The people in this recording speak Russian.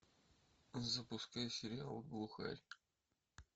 запускай сериал глухарь